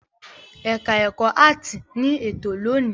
Ẹ̀ka-ẹ̀kọ́ áátì ní ètò lónìí.